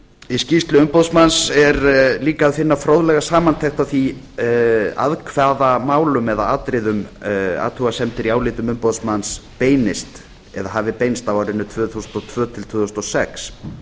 í skýrslu umboðsmanns er líka að finna fróðlega samantekt á því að hvaða málum eða atriðum athugasemdir í áliti umboðsmanns beinist eða hafi beinst á árinu tvö þúsund og tvö til tvö þúsund og sex